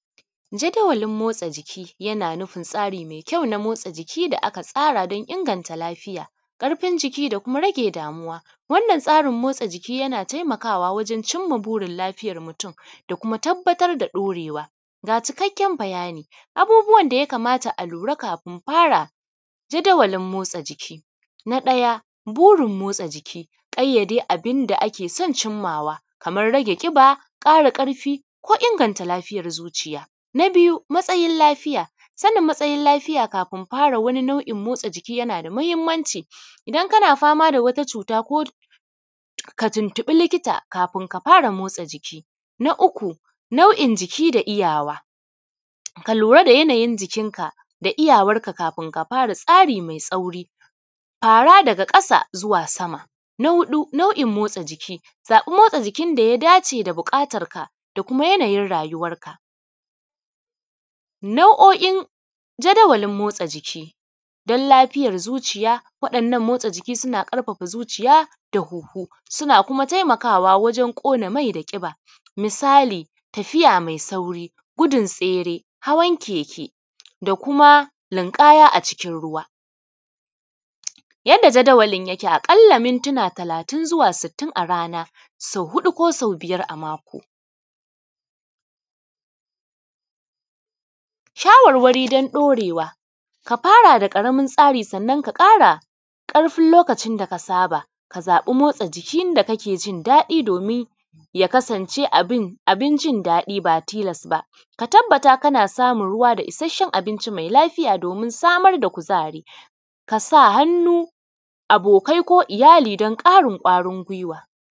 Jada walin motsa jiki na nufin tsari me kyau na motsa jiki da aka tsara don inganta lafiya ƙarfin jiki da kuma rage damuwa, wannan tsarin motsa jiki na taimakawa wajen cinma burin lafiyan mutun da kuma tabbatar da ɗaurewa. Ga cikakken bayani abubuwan da ya kamata a lura kafin fara jadawalin motsa jiki na ɗaya burin motsa jiki ƙayyade abin da ake sun cimmawa kaman rage ƙiba, ƙara ƙarfi ko inganta lafiyan zuciya, na biyu matsayin lafiya sanin matsayin lafiya kafin motsa jiki yana da mahimmanci idan kana da ka tuntuɓi likita kafin ka fara motsa jiki, na uku nau’in jiki da iyawa, ka lura da yanayin jikinka da iyawanka kafin ka fara tsari me sauƙi, fara daga ƙasa zuwa sama. Na huɗu nau’in motsa jiki, akwai motsa jikin da ya dace da buƙatarka da kuma yanayin rayuwanka. Nau’o’in jadawalin motsa jiki don lafiyan zuciya, wannan motsa jiki yana ƙarfafa zuciya da huhu, suna taimakawa wajen ƙona mai da ƙiba, misali tafiya me sauri gudun tsere, hawan keke da kuma linƙaya a cikin ruwa. Yanda jadawalin yake aƙalla mintina talatin zuwa sittin a rana sau huɗu ko sau biyar a mako, shawarwari don ɗaurewa ka fara da ƙaramin tsarin, sannan ka kama ƙarfin lokacin da ka saba ka zaɓa motsa jikin da kake jin daɗinsa domin ya kasance abin jin daɗi ba tilas ba, ka tabbata kana samun ruwa da isashshen abinci me lafiya domin samar da kuzari, ka sa hannu abokai ko iyali don ƙarin kwarin giwa.